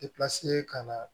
ka na